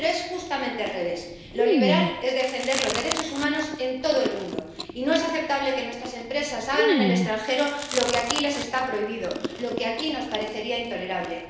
Pero es justamente al revés lo liberal es defender los derechos humanos en todo el mundo y no es aceptable que nuestras empresas hagan en el extranjero lo que aquí les está prohibido, lo que aquí nos parecería intolerable.